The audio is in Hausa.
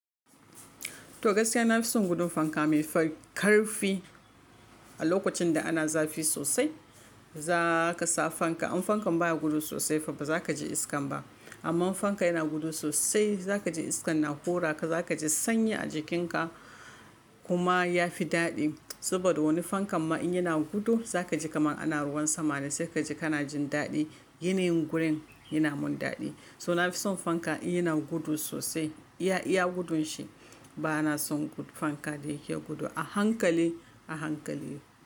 To gaskiya na fi son gudun fanka mai ƙarfi. A lokacin da ana zafi sosai za ka sa fanka. In fankan baya gudu sosai fa ba za ka ji iska ba. Amma in fanka yana gudu sosai za ka ji iskan na hura ka, za ka ji sanyi a jikinka kuma ya fi daɗi. Saboda wani fankan ma in yana gudu za ka ji kamar ana ruwan sama dai sai ka ji kana jin daɗi. Ginin gurin yana mun daɗi. So na fi son fanka in yana gudu sosai iya, iya gudun shi. Ba na son fanka da yake gudu a hankali a hankali ba.